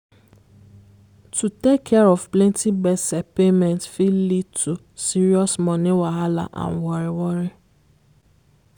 to take care of plenty gbese payment fit lead to serious money wahalla and worry worry.